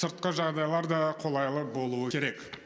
сыртқы жағдайлар да қолайлы болуы керек